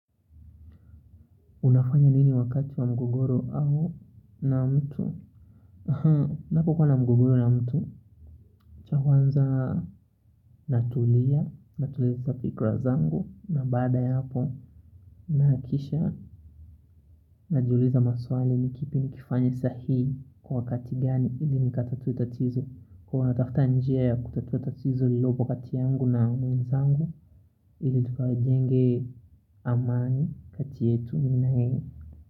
Unafanya nini wakati wa mgogoro na mtu? Napo kuwa na mgogoro na mtu? Cha kwanza natulia, natuliza fikra zangu na baada ya hapo. Na kisha najiuliza maswali ni kipi nikifanya sahihi kwa wakati gani ili nikatatue tatizo. Huwa natafta njia ya kutatua tatizo lililopo kati yangu na mwenzangu ili tukajenge amani kati yetu mimi na yeye.